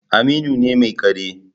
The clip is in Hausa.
Aminu ne mai kare